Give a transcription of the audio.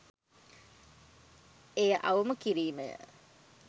එය අවම කිරීම ය